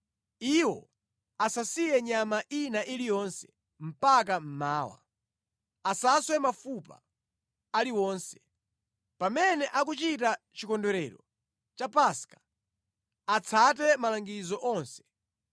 Iwo asasiye nyama ina iliyonse mpaka mmawa. Asaswe mafupa aliwonse. Pamene akuchita chikondwerero cha Paska, atsate malangizo onse.